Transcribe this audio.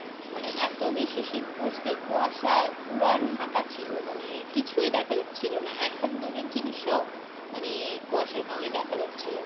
মানে এতো বেশি শীত পড়ছে কুয়াশায় পুরা ঢাকা ছিলো মানে কিছুই দেখা যাচ্ছিলো না এক হাত দুরের জিনিসও মানে কুয়াশায় কারণে দেখা যাচ্ছিলোনা।